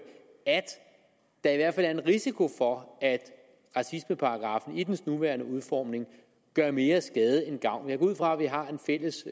at der i hvert fald er en risiko for at racismeparagraffen i dens nuværende udformning gør mere skade end gavn jeg går ud fra at vi har en fælles